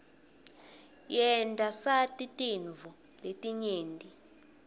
yenta sati tintfo letinyenti